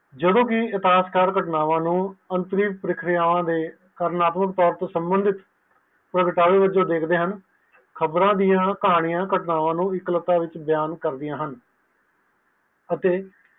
ਜਦੋ ਕਿ ਇਸ ਕਤਨਾਵਾ ਨੂੰ ਅੰਤਰਿ ਪਰੀਖਿਆਵਾਂ ਦੇ ਕਾਰਵਾਰੁਕ ਤੋਰ ਤੇ ਸਮੀਤ ਪ੍ਰਗਟਾਓ ਵਿੱਚੋ ਦੇਖਦੇ ਹਨ ਖ਼ਬਰਆ ਦੀਆ ਕਹਾਣੀਆਂ ਕਤਨਾਵਾ ਨੂੰ ਵੱਖਰਾ ਕਰਦਿਆਂ ਹਨ